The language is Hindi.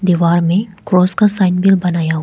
दीवार में क्रॉस का साइन भी बनाया--